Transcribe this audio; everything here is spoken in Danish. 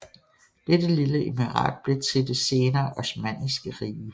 Dette lille emirat blev til det senere osmanniske rige